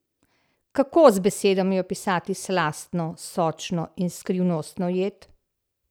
Kako z besedami opisati slastno, sočno in skrivnostno jed?